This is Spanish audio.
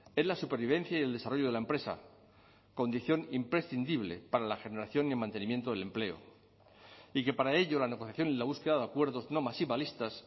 es la supervivencia y el desarrollo de la empresa condición imprescindible para la generación y el mantenimiento del empleo y que para ello la negociación en la búsqueda de acuerdos no maximalistas